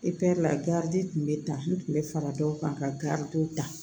la tun bɛ ta n kun bɛ fara dɔw kan ka garibuw ta